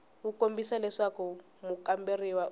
wu kombisa leswaku mukamberiwa u